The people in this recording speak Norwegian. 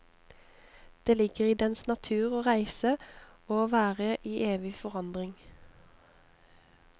Det ligger i dens natur å reise, og å være i evig forandring.